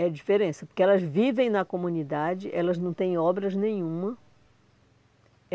É a diferença, porque elas vivem na comunidade, elas não têm obras nenhuma.